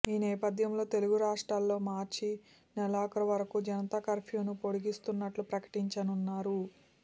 ఈనేపథ్యంలో తెలుగు రాష్ట్రాల్లో మార్చి నెలాఖరు వరకూ జనతా కర్ఫ్యూను పొడిగిస్తున్నట్లు ప్రకటించారన్నారు